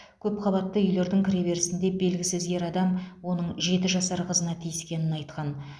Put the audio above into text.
көпқабатты үйлердің кіреберісінде белгісіз ер адам оның жеті жасар қызына тиіскенін айтқан